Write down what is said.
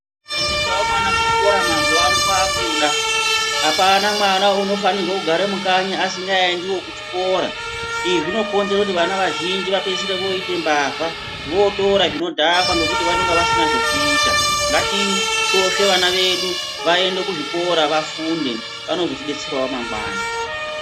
Kusaendesavo mwana kuchikora mazuva ano kwakuda. Hapana mwana unofanirwa kugara mukanyi asingaendivo kuchikora. Izvi zvinokonzera kuti vana vazhinji vapedzisire voite mbavha. Votora zvinodhakwa ngekuti vanonga vasina zvokoita. Ngatisvosve vana vedu vaende kuzvikora vafunde vanozotibetseravo mangwani.